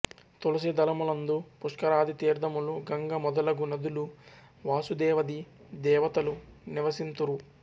తులసి దళములందు పుష్కరాది తీర్ధములు గంగ మొదలగు నదులు వాసుదేవది దేవతలు నివసింతురు